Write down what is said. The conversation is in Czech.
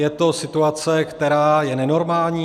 Je to situace, která je nenormální.